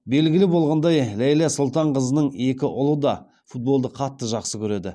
белгілі болғандай ләйлә сұлтанқызының екі ұлы да футболды қатты жақсы көреді